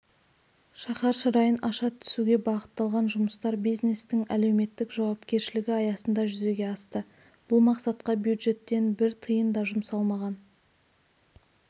шаһар шырайын аша түсуге бағытталған жұмыстар бизнестің әлеуметтік жауапкершілігі аясында жүзеге асты бұл мақсатқа бюджеттен бір тиын да жұмсалмаған